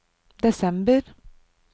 desember